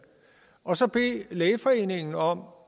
og så bede lægeforeningen om